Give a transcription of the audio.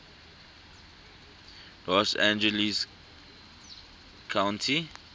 los angeles county